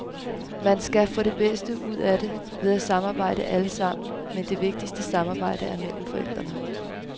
Man skal få det bedste ud af det, ved at samarbejde alle sammen, men det vigtigste samarbejde er mellem forældrene.